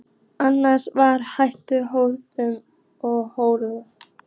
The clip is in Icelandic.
Annars var allt hljótt, undarlega hljótt.